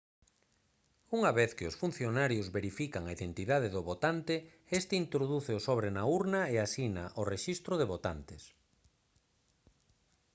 unha vez que os funcionarios verifican a identidade do votante este introduce o sobre na urna e asina o rexistro de votantes